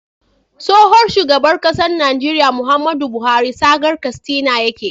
Tsohon shugaban ƙasar Nigeria Muhammadu buhari saga katsina yake